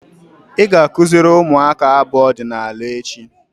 Ị ga-akụziri ụmụaka abụ ọdịnaala echi!